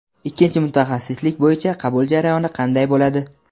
Ikkinchi mutaxassislik bo‘yicha qabul jarayoni qanday bo‘ladi?.